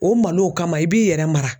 O malow kama i b'i yɛrɛ mara.